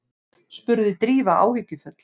spurði Drífa áhyggjufull.